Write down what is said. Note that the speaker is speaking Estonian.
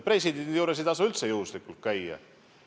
Presidendi juures ei tasu üldse juhuslikult käia.